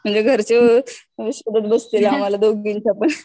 म्हणजे घरचे शोधात बसतील आम्हाला दोघीना पण.